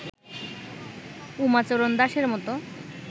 উমাচরণ দাসের মত